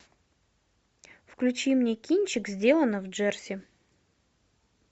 включи мне кинчик сделано в джерси